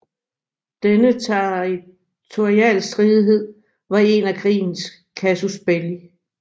Denne territorialstridighed var en af krigens casus belli